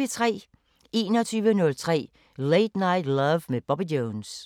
21:03: Late Night Love med Bobby Jones